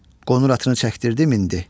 Qonur atını çəkdirdi, mindi.